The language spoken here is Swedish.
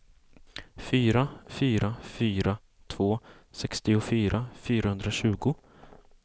fyra fyra fyra två sextiofyra fyrahundratjugo